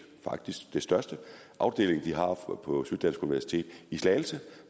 faktisk den største afdeling de har på syddansk universitet i slagelse